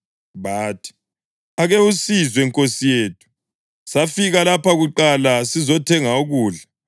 Bathi, “Ake usizwe, nkosi yethu: Safika lapha kuqala sizothenga ukudla.